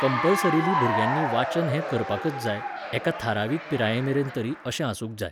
compulsorily भुरग्यांनी वाचन हें करपाकच जाय, एका थारावीक पिरायेमेरेन तरी अशें आसूंक जाय